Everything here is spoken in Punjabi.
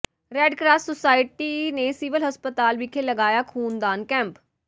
ਰੈੱਡ ਕਰਾਸ ਸੁਸਾਇਟੀ ਨੇ ਸਿਵਲ ਹਸਪਤਾਲ ਵਿਖੇ ਲਗਾਇਆ ਖ਼ੂਨਦਾਨ ਕੈਂਪ